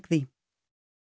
því